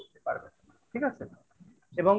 ঠিক আছে? এবং